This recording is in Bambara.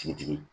Sigitigi